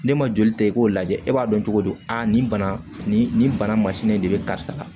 Ne ma joli ta i k'o lajɛ e b'a dɔn cogo di aa nin bana nin nin bana masinin de bɛ karisa la